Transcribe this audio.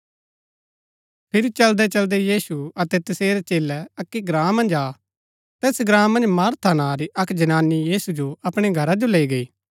फिरी चलदैचलदै यीशु अतै तसेरै चेलै अक्की ग्राँ मन्ज आ तैस ग्राँ मन्ज मार्था नां री अक्क जनानी यीशु जो अपणै घरा जो लैई गई